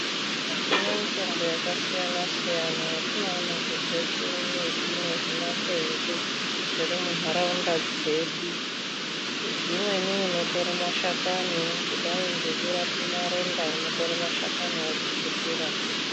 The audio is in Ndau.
Tine mitombo yakasiyana siyana yatinoona kunze kwemiti nezvimakwenzi zviri munharaunda dzedu , dzimweni unotorwe mashakani kudai ngekurape maronda unotore mashakani wotsukutira.